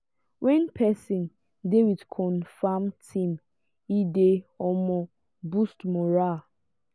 when person dey with confirm team e dey um boost morale